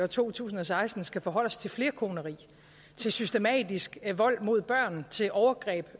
to tusind og seksten skal forholde os til flerkoneri til systematisk vold mod børn og til overgreb